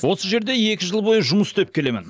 осы жерде екі жыл бойы жұмыс істеп келемін